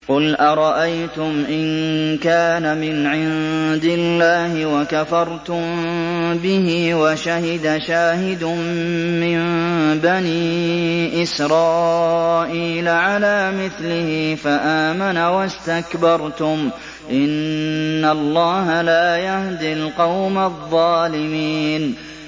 قُلْ أَرَأَيْتُمْ إِن كَانَ مِنْ عِندِ اللَّهِ وَكَفَرْتُم بِهِ وَشَهِدَ شَاهِدٌ مِّن بَنِي إِسْرَائِيلَ عَلَىٰ مِثْلِهِ فَآمَنَ وَاسْتَكْبَرْتُمْ ۖ إِنَّ اللَّهَ لَا يَهْدِي الْقَوْمَ الظَّالِمِينَ